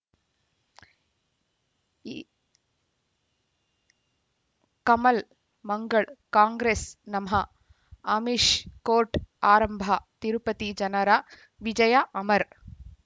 ಈ ಕಮಲ್ ಮಂಗಳ್ ಕಾಂಗ್ರೆಸ್ ನಮಃ ಅಮಿಷ್ ಕೋರ್ಟ್ ಆರಂಭ ತಿರುಪತಿ ಜನರ ವಿಜಯ ಅಮರ್